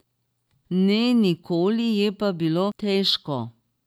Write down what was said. Ne, nikoli, je pa bilo težko.